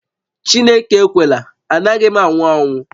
Chineke ekwela, anaghị m anwụ anwụ